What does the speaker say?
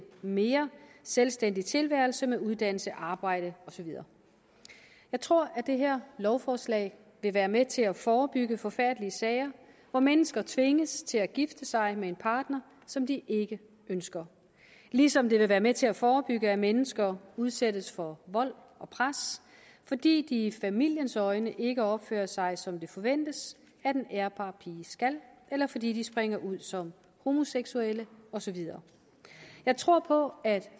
mere selvstændig tilværelse med uddannelse arbejde og så videre jeg tror at det her lovforslag vil være med til at forebygge forfærdelige sager hvor mennesker tvinges til at gifte sig med en partner som de ikke ønsker ligesom det vil være med til at forebygge at mennesker udsættes for vold og pres fordi de i familiens øjne ikke opfører sig som det forventes at en ærbar pige skal eller fordi de springer ud som homoseksuelle og så videre jeg tror på at